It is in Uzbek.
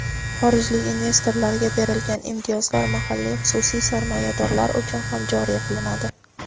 xorijlik investorlarga berilgan imtiyozlar mahalliy xususiy sarmoyadorlar uchun ham joriy qilinadi.